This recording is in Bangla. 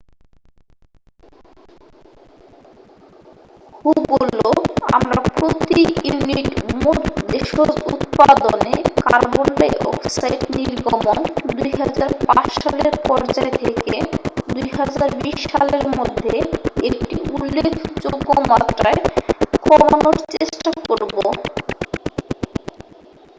"হু বললো "আমরা প্রতি ইউনিট মোট দেশজ উৎপাদনে কার্বন ডাই অক্সাইড নির্গমন ২০০৫ সালের পর্যায় থেকে ২০২০ সালের মধ্যে একটি উল্লেখযোগ্য মাত্রায় কমানোর চেষ্টা করব।""